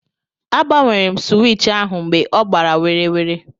A gbanwere m sụwich ahụ mgbe ọ gbara werewere.